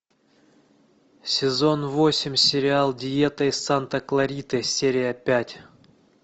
сезон восемь сериал диета из санта клариты серия пять